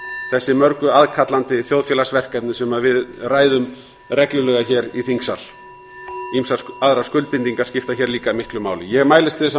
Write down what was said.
þessi mörgu aðkallandi þjóðfélagsverkefni sem við ræðum reglulega hér í þingsal ýmsar aðrar skuldbindingar skipta hér líka miklu máli ég mælist til þess að